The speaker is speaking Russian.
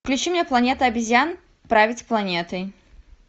включи мне планета обезьян править планетой